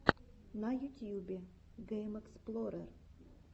на ютюбе геймэксплорер